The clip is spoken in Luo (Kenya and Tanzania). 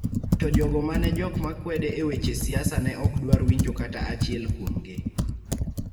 to jogo ma ne jok ma kwede e weche siasa ne ok dwar winjo kata achiel kuomgi, .